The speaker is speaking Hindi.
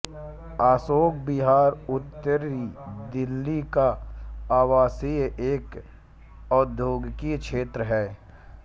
अशोक विहार उत्तरी दिल्ली का आवासीय एवं औद्योगिक क्षेत्र है